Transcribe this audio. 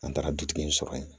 An taara dutigi in sɔrɔ yen